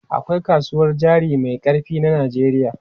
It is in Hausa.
Akwai kasuwar jari mai ƙarfi na Najeriya.